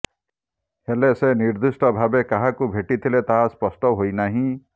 ହେଲେ ସେ ନିର୍ଦ୍ଦିଷ୍ଟ ଭାବେ କାହାକୁ ଭେଟି ଥିଲେ ତାହା ସ୍ପଷ୍ଟ ହୋଇନାହିଁ